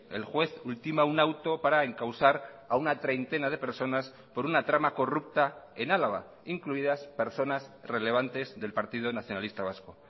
el juez ultima un auto para encausar a una treintena de personas por una trama corrupta en álava incluidas personas relevantes del partido nacionalista vasco